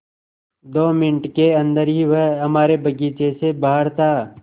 दो मिनट के अन्दर ही वह हमारे बगीचे से बाहर था